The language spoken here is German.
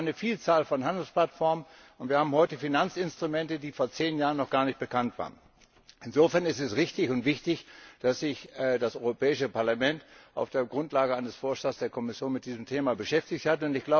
Wir haben heute eine Vielzahl von Handelsplattformen und wir haben heute Finanzinstrumente, die vor zehn Jahren noch gar nicht bekannt waren. Insofern ist es richtig und wichtig, dass sich das Europäische Parlament auf der Grundlage eines Vorschlags der Kommission mit diesem Thema beschäftigt hat.